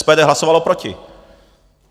SPD hlasovalo proti.